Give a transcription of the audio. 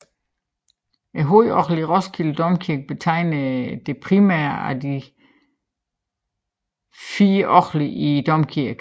Hovedorglet i Roskilde Domkirke betegner det primære af de fire orgler i domkirken